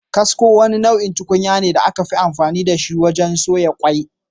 Kasko, wani nau’in tukunya ne da aka fi amfani da shi wajen soya kwai.